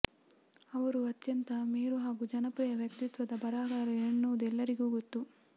ಅವರು ಅತ್ಯಂತ ಮೇರು ಹಾಗೂ ಜನಪ್ರಿಯ ವ್ಯಕ್ತಿತ್ವದ ಬರಹಗಾರರು ಎನ್ನುವುದು ಎಲ್ಲರಿಗೂ ಗೊತ್ತು